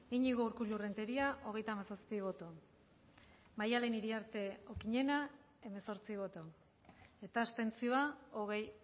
iñigo urkullu renteria hirurogeita hamabost eman dugu bozka hogeita hamazazpi bai hemezortzi bai hogei abstentzio